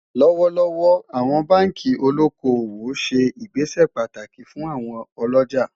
lówó lówó, àwọn bánkì olókó owó ṣé ìgbésẹ pàtàkì fún àwon olójà